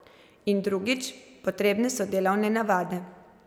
In drugič, potrebne so delovne navade.